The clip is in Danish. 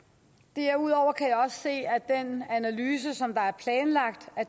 derudover kan jeg også se at den analyse som